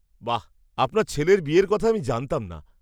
বাহ্! আপনার ছেলের বিয়ের কথা আমি জানতাম না!